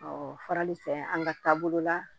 farali fɛ an ka taabolo la